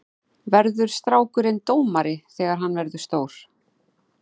Verður strákurinn dómari þegar hann verður stór?